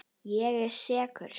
Ég er sekur.